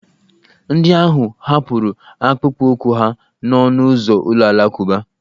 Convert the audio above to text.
Ndị ahụ hapụrụ akpụkpọụkwụ ha n'ọnụ ụzọ ụlọ alakụba.